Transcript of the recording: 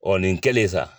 Ɔ nin kelen sa